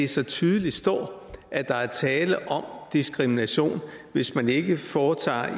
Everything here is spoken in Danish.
så tydeligt står at der er tale om diskrimination hvis man ikke foretager